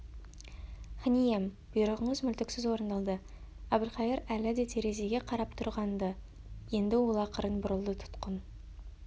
хан ием бұйрығыңыз мүлтіксіз орындалды әбілқайыр әлі де терезеге қарап тұрған-ды енді ол ақырын бұрылды тұтқын